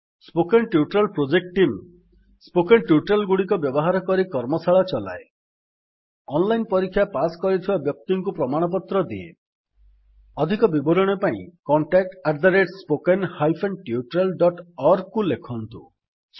spoken tutorial project team spoken tutorial ଗୁଡିକ ବ୍ୟବହାର କରି କର୍ମଶାଳା ଚଲାଏ ଅଧିକ ବିବରଣୀ ପାଇଁ contact spoken hyphen tutorial dot org contact at spoken hyphen tutorial dot ଓଆରଜିକୁ ଲେଖନ୍ତୁ